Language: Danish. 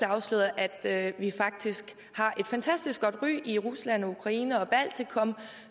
afsløret at vi faktisk har et fantastisk godt ry i rusland og ukraine og baltikum